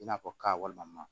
I n'a fɔ ka walima